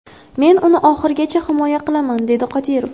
Men uni oxirigacha himoya qilaman”, dedi Qodirov.